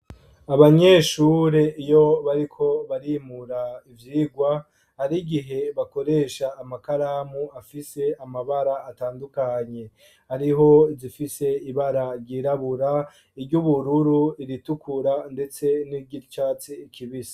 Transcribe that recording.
Abanyeshure iyo bariko barimura ibyigwa ari gihe bakoresha amakaramu afise amabara atandukanye ariho zifise ibara ryirabura iry'ubururu iritukura ndetse n'iry'icyatsi kibisi.